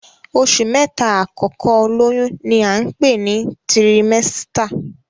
Oṣù mẹ́ta àkọ́kọ́ olóyún ní à ń pè ní tirimẹ́sítà